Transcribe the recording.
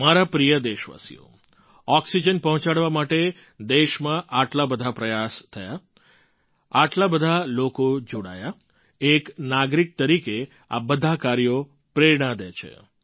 મારા પ્રિય દેશવાસીઓ ઑક્સિજન પહોંચાડવા માટે દેશમાં આટલા બધા પ્રયાસ થયા આટલા બધા લોકો જોડાયા એક નાગરિક તરીકે આ બધાં કાર્યો પ્રેરણા દે છે